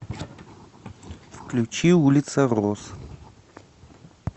включи улица роз